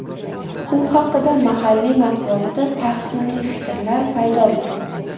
U haqda mahalliy matbuotda tahsinli fikrlar paydo bo‘ldi.